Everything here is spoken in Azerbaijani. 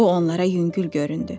Bu onlara yüngül göründü.